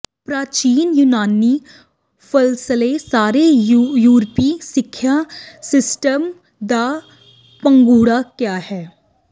ਪ੍ਰਾਚੀਨ ਯੂਨਾਨੀ ਫ਼ਲਸਫ਼ੇ ਸਾਰੇ ਯੂਰਪੀ ਸਿੱਖਿਆ ਸਿਸਟਮ ਦਾ ਪੰਘੂੜਾ ਕਿਹਾ ਹੈ